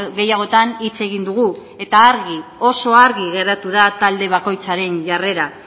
gehiagotan hitz egin dugu eta argi oso argi geratu da talde bakoitzaren jarrera